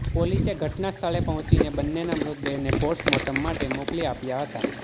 પોલીસે ઘટના સ્થળે પહોંચીને બંનેના મૃતદેહને પોસ્ટમોર્ટમ માટે મોકલી આપ્યા હતા